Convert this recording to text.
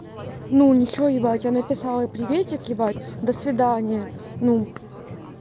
ну ничего ебать я написала приветик ебать до свидания ну